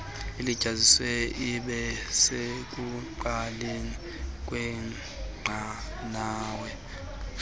ilityaziswe ibesekuqaleni kwenqanaba